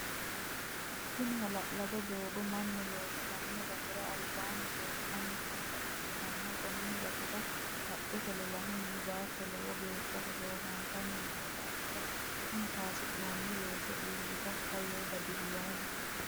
Tinni ha'lalado doogo mannu loosirino gatira albaanni leelitanni noota ikitanna konni gatira qacete lolahunni baatto lowo geesha hoshooshantanni noo daafiri tenne kaansoonni weese iilitaka yee dadaloomo.